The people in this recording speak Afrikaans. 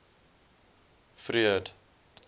freud